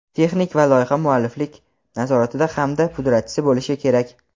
texnik va loyiha mualliflik nazorati hamda pudratchisi bo‘lishi kerak.